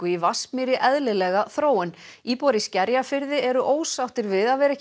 í Vatnsmýri eðlilega þróun íbúar í Skerjafirði eru ósáttir við að vera ekki